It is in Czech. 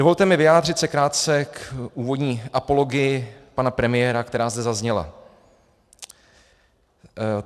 Dovolte mi vyjádřit se krátce k úvodní apologii pana premiéra, která zde zazněla.